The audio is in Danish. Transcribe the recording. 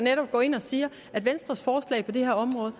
går ind og siger at venstres forslag på det her område